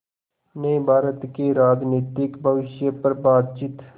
ने भारत के राजनीतिक भविष्य पर बातचीत